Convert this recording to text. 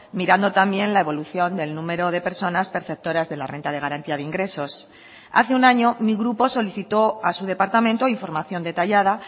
mirando también la evolución del número de personas perceptoras de la renta de garantía de ingresos hace un año mi grupo solicitó a su departamento información detallada